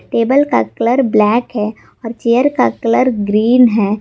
Table का colour black है और चेयर का कलर ग्रीन है।